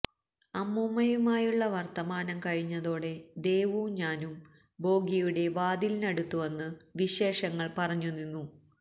അമ്മൂമ്മയുമായുള്ള വർത്തമാനം കഴിഞ്ഞതോടെ ദേവും ഞാനും ബോഗിയുടെ വാതിലിനടുത്തു വന്ന് വിശേഷങ്ങൾ പറഞ്ഞു നിന്നു